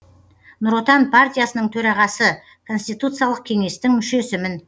нұр отан партиясының төрағасы конституциялық кеңестің мүшесімін